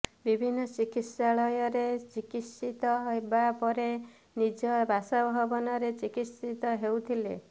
ବିଭିନ୍ନ ଚିକିତ୍ସାଳୟରେ ଚିକିତ୍ସିତ ହେବା ପରେ ନିଜ ବାସଭବନରେ ଚିକିତ୍ସିତ ହେଉଥିଲେ